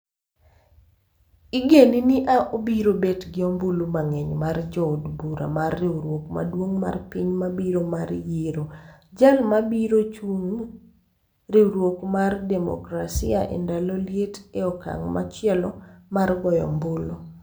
igeni ni obiro bet gi ombulu mang'eny mar jo od bura mar riwruok maduong' mar piny mabiro mar yiero jal ma biro chung e riwruok mar Demokrasia e ndalo liet e okang' machielo mar goyo ombulu